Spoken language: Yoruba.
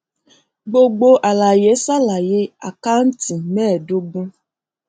gbogbo àlàyé ṣàlàyé àkántì mẹẹdógún